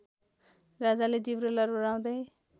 राजाले जिब्रो लर्बराउँदै